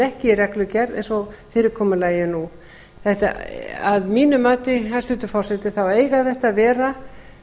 ekki í reglugerð eins og fyrirkomulagið er nú að mínu mati hæstvirtur forseti eiga þetta að vera